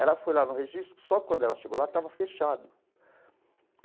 Ela foi lá no registro, só quando ela chegou lá estava fechado.